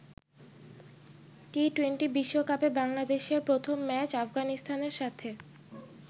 টি-২০ বিশ্বকাপে বাংলাদেশের প্রথম ম্যাচ আফগানিস্তানের সাথে।